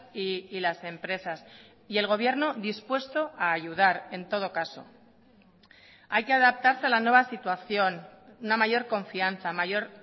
y las empresas y el gobierno dispuesto a ayudar en todo caso hay que adaptarse a la nueva situación una mayor confianza mayor